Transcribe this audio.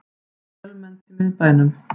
Fjölmennt í miðbænum